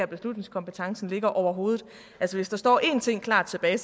beslutningskompetencen ligger overhovedet altså hvis der står én ting klart tilbage